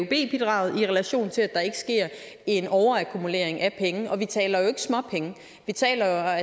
bidraget i relation til at der ikke sker en overakkumulering af penge vi taler jo ikke småpenge vi taler